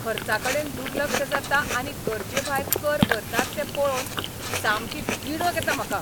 खर्चाकडेन दुर्लक्ष जाता आनी गरजेभायर कर भरतात तें पळोवन सामकी तिडक येता म्हाका.